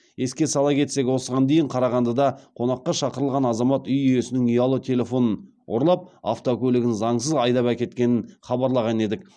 еске сала кетсек осыған дейін қарағандыда қонаққа шақырылған азамат үй иесінің ұялы телефонын ұрлап автокөлігін заңсыз айдап әкеткенін хабарлаған едік